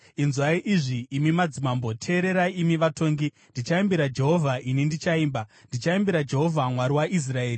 “Inzwai izvi, imi madzimambo! Teererai imi vatongi! Ndichaimbira Jehovha, ini ndichaimba; ndichaimbira Jehovha, Mwari waIsraeri.